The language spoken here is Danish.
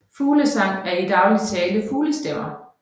Fuglesang er i daglig tale fuglestemmer